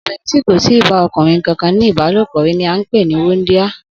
Obìnrin tí kò ì tíì bá o̩kùnrin kankan ní ìbálòpò rí ni à ń pè ní wúndíá